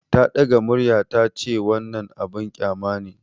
Ta ɗaga murya ta ce, "Wannan abin kyama ne!"